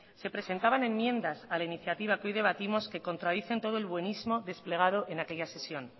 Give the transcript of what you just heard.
se presentaban enmiendas a la iniciativa que hoy debatimos que contradicen todo el buenísimo desplegado en aquella sesión